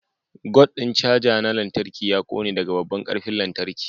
Gut ɗin caja na lantarki ya ƙone daga babban ƙarfin lantarki.